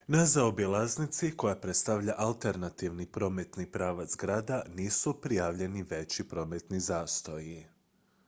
na zaobilaznici koja predstavlja alternativni prometni pravac grada nisu prijavljeni veći prometni zastoji